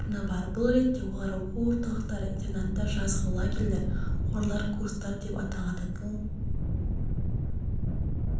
орны бар бұл ретте олар оқу орталықтары интернаттар жазғы лагерлер қорлар курстар деп аталады бұл